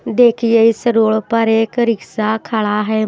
देखिए इस रोड पर एक रिक्शा खड़ा है।